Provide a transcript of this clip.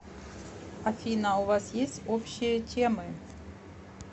афина у вас есть общие темы